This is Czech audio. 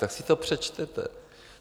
Tak si to přečtěte!